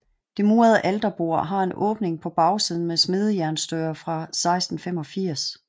Det murede alterbord har en åbning på bagsiden med smedejernsdøre fra 1685